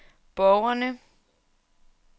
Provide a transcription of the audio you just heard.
borgerne